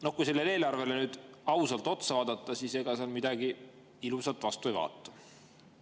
No kui sellele eelarvele nüüd ausalt otsa vaadata, siis ega sealt midagi ilusat vastu ei vaata.